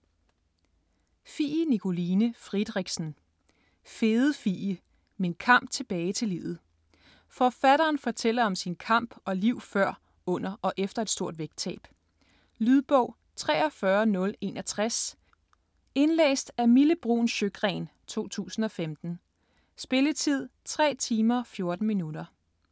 Friedrichsen, Fie Nikoline: Fede Fie: min kamp tilbage til livet Forfatteren fortæller om sin kamp og liv før, under og efter et stort vægttab. Lydbog 43061 Indlæst af Mille Bruun Sjøgren, 2015. Spilletid: 3 timer, 14 minutter.